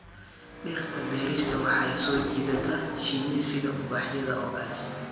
Dhirta beerista waxay soo jiidataa shinni sida ubaxyada oo kale